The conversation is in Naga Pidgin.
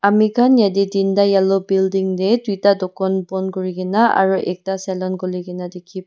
amikan yati tenta yellow building ti tuita dokan bon kurikina aru ekta saloon kulikina teki.